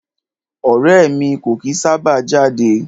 Ọrẹ́ ẹ̀ mi kò kìí sábà jáde.